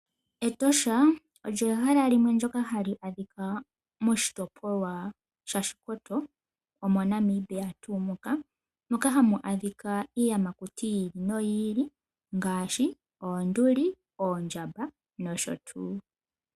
Etosha olyo ehala limwe ndyoka hali adhika moshitopolwa shaShikoto, omo Namibia tuu moka , moka hamu adhika iiyamakuti yi ili noyi ili ngaashi oonduli , oondjamba nosho tuu.